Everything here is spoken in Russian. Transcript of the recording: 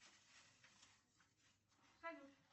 салют